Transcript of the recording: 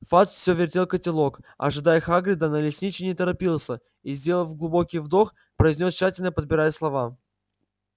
фадж всё вертел котелок ожидая хагрида но лесничий не торопился и сделав глубокий вдох произнёс тщательно подбирая слова